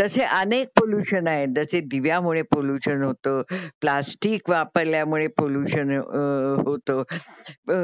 तसे अनेक पॉल्युशन आहेत जसे दिव्यामुळे पॉल्युशन होत, प्लास्टिक वापरल्यामुळे पॉल्युशन होत अ.